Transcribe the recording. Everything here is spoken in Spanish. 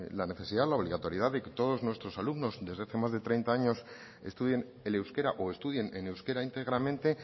la necesidad la obligatoriedad de que todos nuestros alumnos desde hace más de treinta años estudien el euskera o estudien en euskera íntegramente